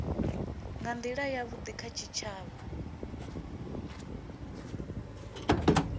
nga ndila yavhudi kha tshitshavha